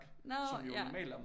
Nå ja